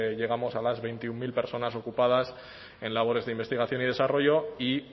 llegamos a las veintiuno mil personas ocupadas en labores de investigación y desarrollo y